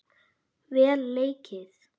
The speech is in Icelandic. Vel leikið.